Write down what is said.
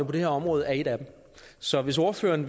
på det her område er en af dem så hvis ordføreren